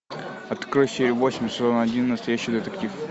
открой серию восемь сезон один настоящий детектив